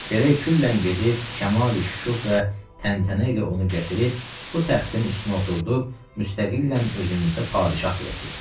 Gərək küllən gedib kəmal-i şükuh və təntənə ilə onu gətirib, bu təxtin üstünə oturdub, müstəqillə özünüzə padşah biləsiz.